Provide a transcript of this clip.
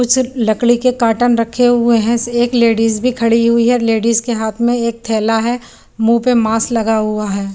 कुछ लकड़ी के काटन रखे हुए हैं एक लेडिज भी खड़ी हुई है लेडिज के हाथ में एक थैला है मुहँ पे मास लगा हुआ है।